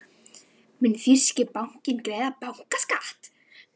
Mun þýski bankinn greiða bankaskatt?